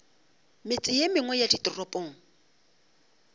metse ye mengwe ya ditoropong